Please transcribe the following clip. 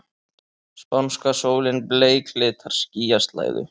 Spánska sólin bleiklitar skýjaslæðu.